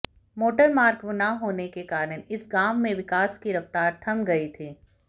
motor मार्ग न होने के कारण इस गांव में विकास की रफ्तार थम गई थी